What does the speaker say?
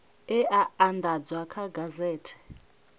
e a andadzwa kha gazethe